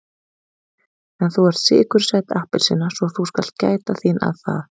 En þú ert sykursæt appelsína svo þú skalt gæta þín að það.